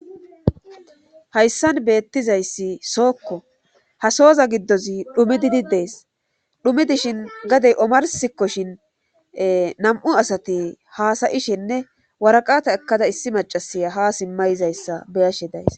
Haysan beettizayssi sookko;ha sooza giddozi dhumidi des;dhumi dishin gadde omarssikoshin ee nam7u asati haasa7ishenne waraqata ekkada issi maccasiya haa simma yizayssa be7ashe days.